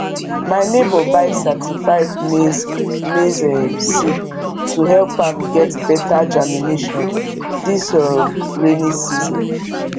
my neighbour buy certified maize maize um seed to help am get better germination this um rainy season